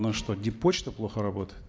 у нас что дип почта плохо работает